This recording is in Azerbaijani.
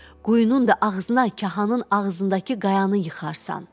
Quyunun da ağzına kahanın ağzındakı qayanı yıxarsan.